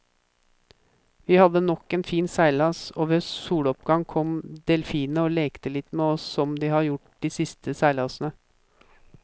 Vi hadde nok en fin seilas, og ved soloppgang kom delfinene og lekte litt med oss som de har gjort de siste seilasene.